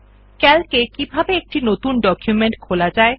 CALC এ কিভাবে একটি নতুন ডকুমেন্ট খোলা যায়